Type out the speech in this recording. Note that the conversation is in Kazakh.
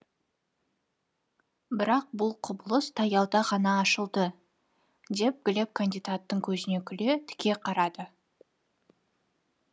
бірақ бұл құбылыс таяуда ғана ашылды деп глеб кандидаттың көзіне күле тіке қарады